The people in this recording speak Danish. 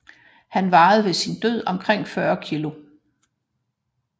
Han vejede ved sin død omkring 40 kg